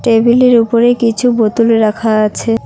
টেবিলের ওপরে কিছু বোতল রাখা আছে।